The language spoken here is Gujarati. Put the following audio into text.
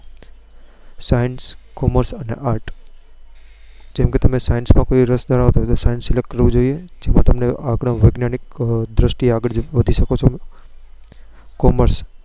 science, commerce and arts જેમ કે તમે science માં રસ ધરાવતા હોવ તો તમે science select કરવું જોઈએ આગળ વૈજ્ઞાનિક દ્રષ્ટિએ તમે આગળ વધી શકો છો commerce